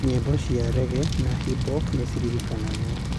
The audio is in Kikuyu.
Nyĩmbo cia reggae na hip hop nĩ ciririkanagwo.